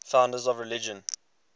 founders of religions